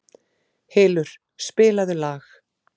Hylur, spilaðu lag.